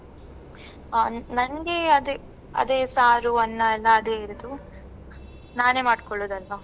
ಆ ನನ್ಗೆ ಅದೆ ಅದೇ ಸಾರು, ಅನ್ನ ಎಲ್ಲಾ ಅದೇ ಇರುದು ನಾನೆ ಮಾಡ್ಕೊಳ್ಳುದಲ್ವಾ.